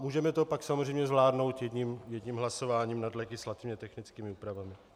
Můžeme to pak samozřejmě zvládnout jedním hlasováním nad legislativně technickými úpravami.